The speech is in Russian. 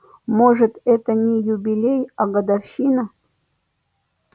может это и не юбилей а годовщина